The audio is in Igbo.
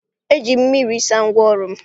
Eji m mmiri saa ngwaọrụ m